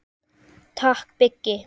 Takk Biggi.